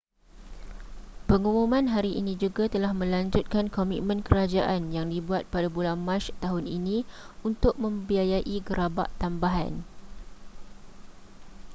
pengumuman hari ini juga telah melanjutkan komitmen kerajaan yang dibuat pada bulan mac tahun ini untuk membiayai gerabak tambahan